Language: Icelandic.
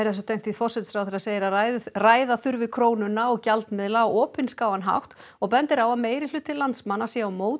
forsætisráðherra segir að ræða ræða þurfi krónuna og gjaldmiðla á opinskáan hátt og bendir á að meirihluti landsmanna sé á móti